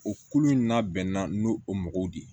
O kulu in n'a bɛnna n'o o mɔgɔw de ye